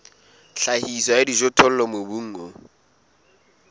tlhahiso ya dijothollo mobung o